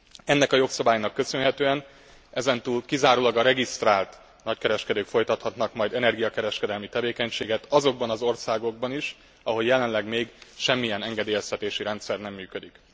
Ennek a jogszabálynak köszönhetően ezentúl kizárólag a regisztrált nagykereskedők folytathatnak majd energiakereskedelmi tevékenységet azokban az országokban is, ahol jelenleg még semmilyen engedélyeztetési rendszer sem működik.